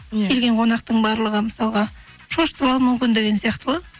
иә келген қонақтың барлығы мысалға шошытып алу мүмкін деген сияқты ғой